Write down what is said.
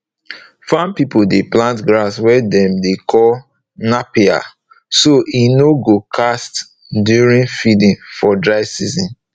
farm people dey plant grass wey dem dey call napier so e nor go cast during feeding for dry season